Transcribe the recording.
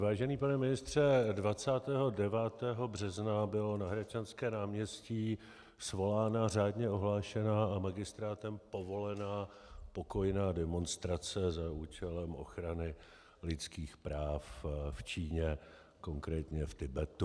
Vážený pane ministře, 29. března byla na Hradčanské náměstí svolána řádně ohlášená a magistrátem povolená pokojná demonstrace za účelem ochrany lidských práv v Číně, konkrétně v Tibetu.